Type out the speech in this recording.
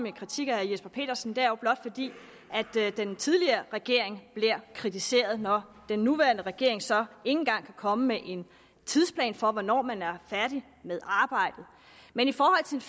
en kritik af herre jesper petersen er jo blot fordi den tidligere regering bliver kritiseret når den nuværende regering så engang kan komme med en tidsplan for hvornår man er færdig med arbejdet men i forhold